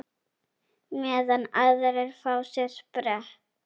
Meðan aðrir fá sér sprett?